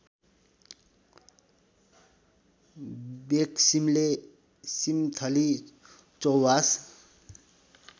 वेखसिम्ले सिम्थली चौवास